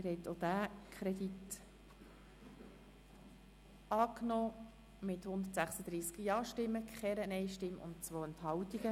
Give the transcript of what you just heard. Sie haben auch diesen Kredit angenommen mit 136 Ja-, ohne Nein-Stimmen und bei 2 Enthaltungen.